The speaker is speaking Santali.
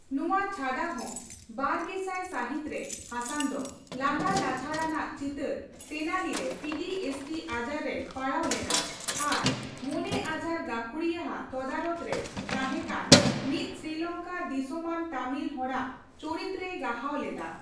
ᱱᱚᱣᱟ ᱪᱷᱟᱰᱟ ᱦᱚᱸ ᱵᱟᱨᱜᱮᱥᱟᱭ ᱥᱟᱹᱦᱤᱛ ᱨᱮ ᱦᱟᱥᱟᱱ ᱫᱚ ᱞᱟᱸᱫᱟ ᱞᱟᱪᱷᱟᱲ ᱟᱱᱟᱜ ᱪᱤᱛᱟᱹᱨ 'ᱛᱮᱱᱟᱞᱤ' ᱨᱮ ᱯᱤᱴᱤᱮᱥᱰᱤ ᱟᱡᱟᱨ ᱨᱮᱭ ᱯᱟᱲᱟᱣ ᱞᱮᱱᱟ ᱟᱨ ᱢᱚᱱᱮᱼᱟᱡᱟᱨ ᱜᱟᱹᱠᱷᱩᱲᱤᱭᱟᱹᱼᱟᱜ ᱛᱚᱫᱟᱨᱚᱛ ᱨᱮᱭ ᱛᱟᱸᱦᱮ ᱠᱟᱱ ᱢᱤᱫ ᱥᱨᱤᱞᱚᱝᱠᱟ ᱫᱤᱥᱚᱢᱟᱱ ᱛᱟᱢᱤᱞ ᱦᱚᱲᱟᱜ ᱪᱚᱨᱤᱛ ᱨᱮᱭ ᱜᱟᱦᱟᱣ ᱞᱮᱫᱟ ᱾